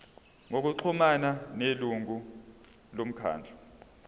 ngokuxhumana nelungu lomkhandlu